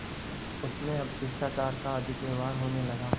उनमें अब शिष्टाचार का अधिक व्यवहार होने लगा